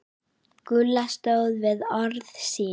Gulla stóð við orð sín.